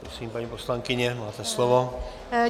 Prosím, paní poslankyně, máte slovo.